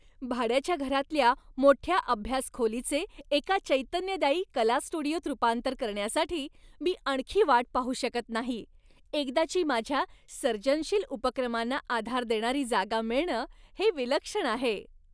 भाड्याच्या घरातल्या मोठ्या अभ्यास खोलीचे एका चैतन्यदायी कला स्टुडिओत रूपांतर करण्यासाठी मी आणखी वाट पाहू शकत नाही. एकदाची माझ्या सर्जनशील उपक्रमांना आधार देणारी जागा मिळणं हे विलक्षण आहे.